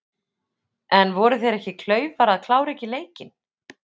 En voru þeir ekki klaufar að klára ekki leikinn?